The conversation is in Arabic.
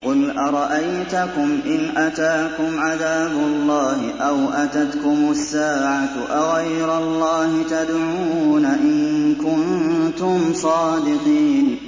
قُلْ أَرَأَيْتَكُمْ إِنْ أَتَاكُمْ عَذَابُ اللَّهِ أَوْ أَتَتْكُمُ السَّاعَةُ أَغَيْرَ اللَّهِ تَدْعُونَ إِن كُنتُمْ صَادِقِينَ